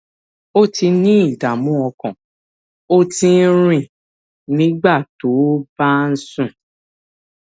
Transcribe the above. o ti ní ìdààmú ọkàn o ti ń rìn nígbà tó o bá ń sùn